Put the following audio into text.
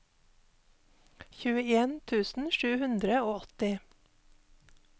tjueen tusen sju hundre og åtti